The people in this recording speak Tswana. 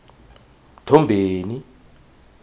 mthombeni